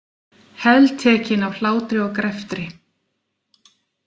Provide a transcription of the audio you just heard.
Heltekinn af hlátri og greftri.